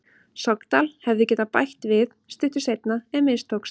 Sogndal hefðu getað bætt við stuttu seinna en mistókst.